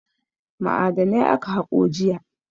Ma'adanai aka haƙo jiya.